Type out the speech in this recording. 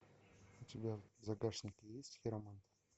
у тебя в загашнике есть хиромант